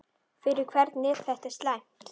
Fyrir hvern er þetta slæmt?